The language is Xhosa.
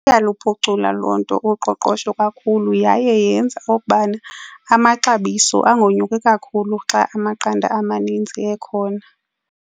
Iyaluphucula loo nto uqoqosho kakhulu yaye yenza okubana amaxabiso angonyuki kakhulu xa amaqanda amaninzi ekhona.